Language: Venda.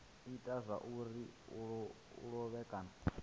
ita zwauri a lovhe kana